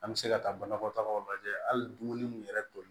An bɛ se ka taa banakɔtagaw lajɛ hali dumuni mun yɛrɛ toli